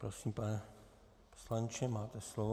Prosím, pane poslanče, máte slovo.